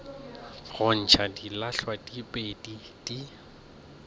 go ntšha dilahlwa diphedi di